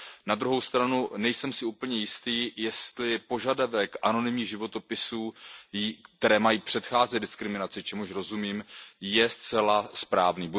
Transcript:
Na druhou stranu si nejsem úplně jistý, jestli požadavek anonymních životopisů, které mají předcházet diskriminaci, čemuž rozumím, je zcela správný.